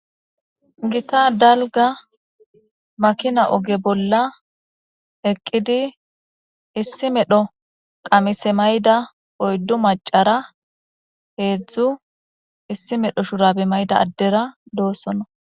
Gita dalga makina oge bolla eqqidi issi medho qamise mayda oyddu macara heedzdzu issi medho shurabe mayda addera doossona